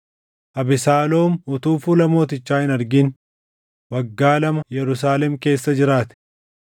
Abesaaloom utuu fuula mootichaa hin argin waggaa lama Yerusaalem keessa jiraate.